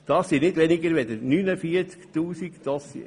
Es sind nicht weniger als 49 000 Dossiers.